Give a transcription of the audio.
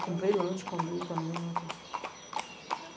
Comprei lanche, comi com a menina.